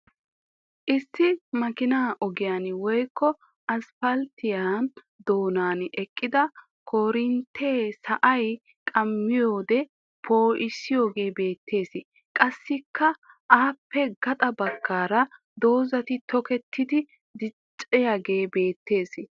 Issi makkinaa ogiyan woyikko asipalttiya doonan eqqida koorintte sa'ay qammiyode poo'iyagee beettes. Qassikka aappe gaxa baggaara dozzay toketi diccaagee beettes.